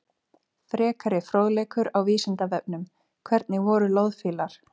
Frekari fróðleikur á Vísindavefnum: Hvernig voru loðfílar?